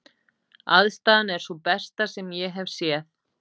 Aðstaðan er sú besta sem ég hef séð.